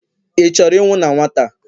ị chọrọ ịnwụ na nwata?